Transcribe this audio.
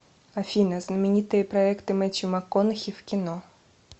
афина знаменитые проекты мэттью макконахи в кино